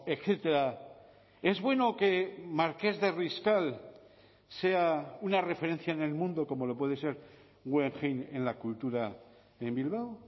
etcétera es bueno que marqués de riscal sea una referencia en el mundo como lo puede ser guggenheim en la cultura en bilbao